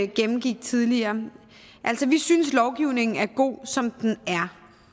gennemgik tidligere vi synes lovgivningen er god som den er